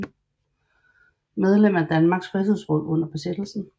Medlem af Danmarks Frihedsråd under besættelsen